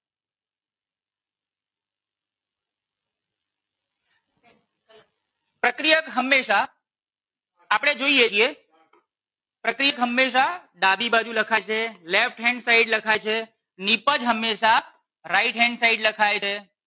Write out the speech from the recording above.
પ્રક્રિયક હમેશા આપણે જોઈએ છીએ પ્રક્રિયક હમેશા ડાબી બાજુ લખાય છે left hand side લખાય છે નીપજ હમેશા right hand side લખાય છે